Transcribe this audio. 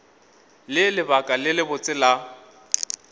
le lebaka le lebotse la